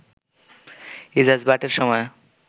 ইজাজ বাটের সময়ে